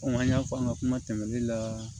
an y'a fɔ an ka kuma tɛmɛnen la